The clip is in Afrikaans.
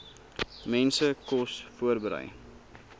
mense kos voorberei